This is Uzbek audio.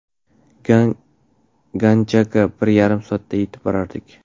Ganjaga bir yarim soatda yetib borardik.